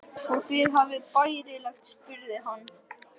Og þið hafið það bærilegt? spurði hann.